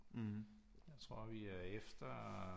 Jeg tror vi er efter